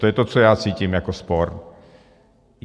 To je to, co já cítím jako spor.